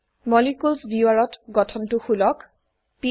molecules viewer ত গঠনটো খুলক 3